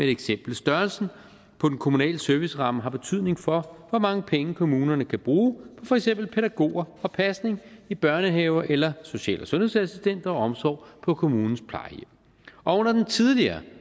eksempel størrelsen på den kommunale serviceramme har betydning for hvor mange penge kommunerne kan bruge på for eksempel pædagoger og pasning i børnehaver eller social og sundhedsassistenter og omsorg på kommunens plejehjem og under den tidligere